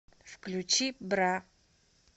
включи бра